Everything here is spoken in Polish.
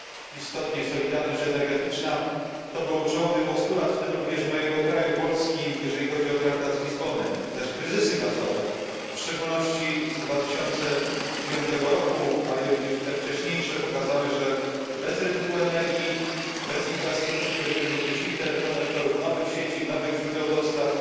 Istotnie, solidarność energetyczna to był czołowy postulat, w tym również mojego kraju, Polski, jeżeli chodzi o traktat z Lizbony, zaś kryzysy gazowe, w szczególności kryzys z 2009 roku, ale również i te wcześniejsze, pokazały, że bez rynku energii, bez infrastruktury, w tym również interkonektorów, nowych sieci, nowych źródeł dostaw,